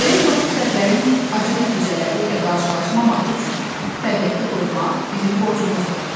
Belə kobud səhvlərin acı nəticələri ilə qarşılaşmamaq üçün təbiəti qorumaq bizim borcumuzdur.